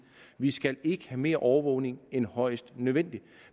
vi skal ikke have mere overvågning end højst nødvendigt